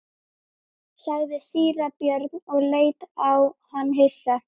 sagði síra Björn og leit á hann hissa.